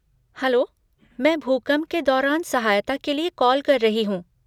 Hello, मैं भूकंप के दौरान सहायता के लिए कॉल कर रही हूँ।